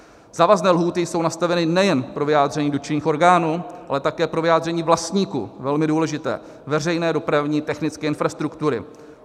Závazné lhůty jsou nastaveny nejen pro vyjádření dotčených orgánů, ale také pro vyjádření vlastníků - velmi důležité - veřejné dopravní technické infrastruktury.